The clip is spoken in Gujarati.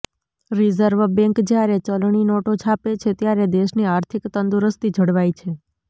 રિઝર્વ બેન્ક્ જ્યારે ચલણી નોટો છાપે છે ત્યારે દેશની આર્થિક તંદુરસ્તી જળવાય છે